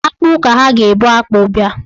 Akpụ ka ha ga-ebụ akpụ bịa.